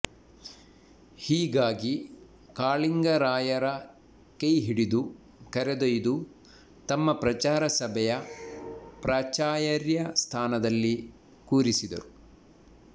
ಹೀಗಾಗಿ ಕಾಳಿಂಗರಾಂುುರ ಕೈಹಿಡಿದು ಕರೆದೊಂುು್ದು ತಮ್ಮ ಪ್ರಚಾರ ಸಭೆೆಂುು ಪ್ರಾಚಾಂುುರ್ರ ಸ್ಥಾನದಲ್ಲಿ ಕೂರಿಸಿದರು